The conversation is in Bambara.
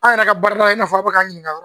Aw yɛrɛ ka baralaw i na fɔ a bi k'an ɲininka.